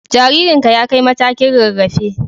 Jaririnka ya kai matakin rarrafe